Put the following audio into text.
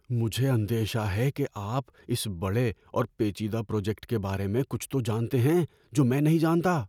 مجھے اندیشہ ہے کہ آپ اس بڑے اور پیچیدہ پروجیکٹ کے بارے میں کچھ تو جانتے ہیں جو میں نہیں جانتا۔